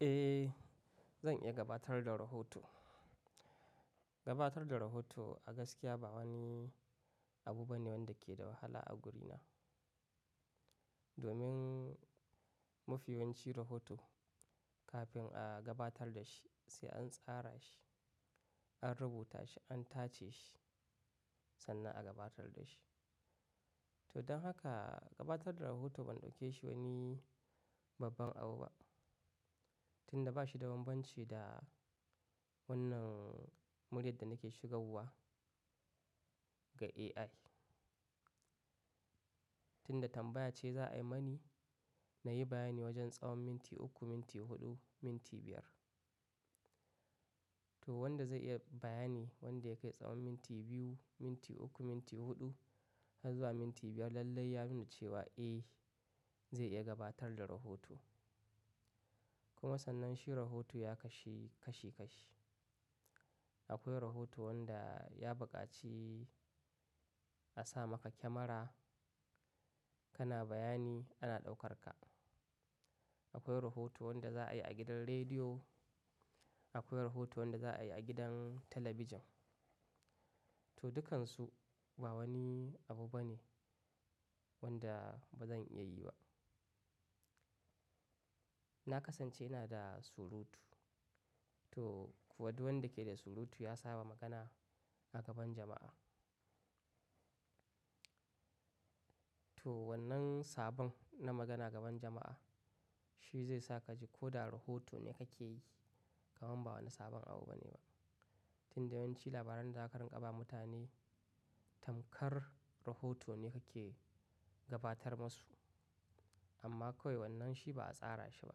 Eh, zan iya gabatar da rahoto. Gabatar da rahoto a gaskiya ba wani abu bane wanda ke da wahala a gurina. Domin mafiyanci rahoto kafin a gabatar da shi, sai an tsara shi, an rubuta shi, an tace shi sannan a gabatar da shi. To don haka gabatar da rahoto ban ɗauke shi wani babban abu ba. Tunda bashi da bambanci da wannan muryar da nake shigawa ga AI. Tunda tambaya ce za a yi mani, na yi bayani wajen tsawon minti uku, minti huɗu, minti biyar. To wanda zai iya bayani wanda ya kai tsawon minti biyu, minti uku, minti huɗu har zuwa minti biyar lallai ya nuna cewa eh zai iya gabatar da rahoto. Kuma sannan shi rahoto ya kashe kashi kashi. Akwai rahoto wanda ya buƙaci a sa maka kyamara kana bayani ana ɗaukar ka. Akwai rahoto wanda za a yi a gidan rediyo. Akwai rahoto wanda za a yi a gidan talabijin. To dukansu ba wani abu bane wanda bazan iya yi ba. Na kasance ina da surutu. To kuwa duk wanda yake da surutu ya saba magana a gaban jama'a. To wannan sabon na magana gaban jama'a shi zai sa ka ji ko da rahoto ne kake yi kamar ba wani sabon abu bane ba. Tun da yawanci labaran zakarun ƙaba mutane tamkar rahoto ne kake gabatar masu. Amma kawai wannan shi ba a tsara shi ba,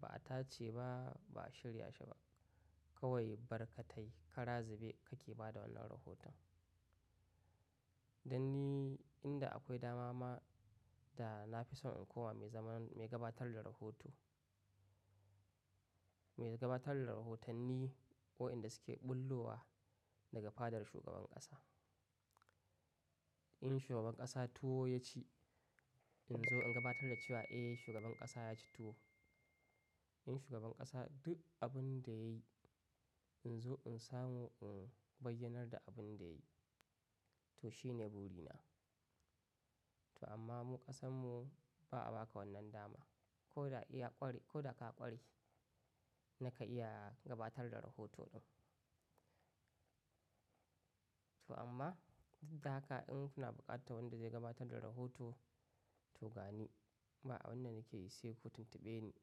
ba a tace ba, ba a shirya shi ba. Kawai barkatai ka razibe kake ba da wannan rahoton. Dan ni inda akwai dama ma da na fi son in koma mai zaman-- mai gabatar da rahoto, mai gabatar da rahotanni waɗanda suke bullowa daga fadar shugaban ƙasa. In shugaban ƙasa tuwo ya ci, in zo in gabatar da cewa eh shugaban ƙasa ya ci tuwo. In shugaban ƙasa duk abin da yayi in zo in samu in bayyanar da abin da yayi. To shine burina. To amma mu ƙasanmu ba a baka wannan dama. Ko da iya ƙware-- ko da ka ƙware, naka iya gabatar da rahoto ɗin. To amma duk da haka in kuna buƙatar wanda zai gabatar da rahoto to gani ba abunda nake yi sai ku tuntube ni.